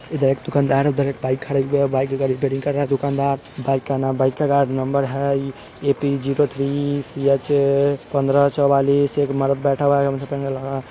इधर एक दुकानदार उधर एक बाईक खड़े हुए है बाइक का रेपाइरिंग कर रहा है दुकानदार बाइक का न बाइक का नंबर है A P zero three C H पंद्रह चौवालीस एक मर्द बैठा हुआ है